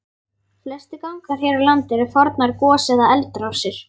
Flestir gangar hér á landi eru fornar gos- eða eldrásir.